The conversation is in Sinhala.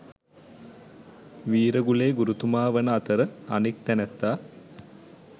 වීරගුලේ ගුරුතුමා වන අතර අනෙක් තැනැත්තා